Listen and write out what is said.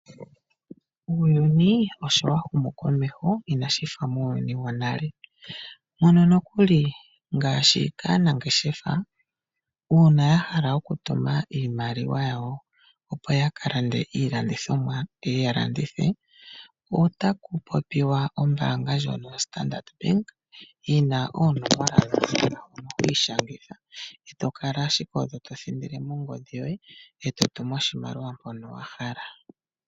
Uuyuni osho wa humu komeho inashif auuyuni wonale ngaashi aanangeshefa uuna ya hala okutuma iimaliwa yawo opo ya kalande iilandithimwa ye ue ya ndithe oyaku popiwa ombaanga ndjoka yoStandrd bank yina oonomola dhikwaiishangitha to longo owala nongodhi yoye eto tumu oshimaliwa mpono wahala .